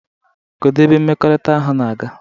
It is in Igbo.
Kedu ebe mmekọrịta ahụ na-aga?